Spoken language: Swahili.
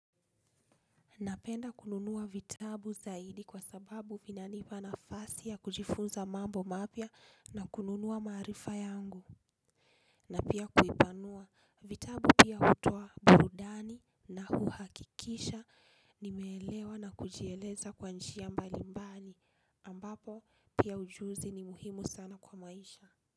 Napenda kununua vitabu zaidi kwa sababu vinanipa nafasi ya kujifunza mambo mapya na kununua maarifa yangu. Na pia kuipanua vitabu pia hutoa burudani na huhakikisha nimeelewa na kujieleza kwa njia mbalimbani ambapo pia ujuzi ni muhimu sana kwa maisha.